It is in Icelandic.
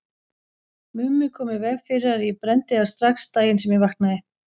Mummi kom í veg fyrir að ég brenndi þær strax daginn sem ég vaknaði.